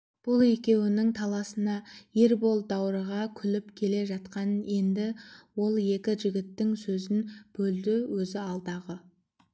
бұл екеуінің таласына ербол даурыға күліп келе жатқан енді ол екі жігіттің сөзін бөлді өзі алдағы